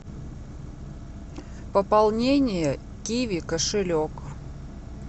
пополнение киви кошелек